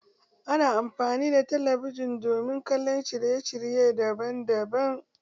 Ana amfani da talabijin domin kallon shirye shirye daban daban.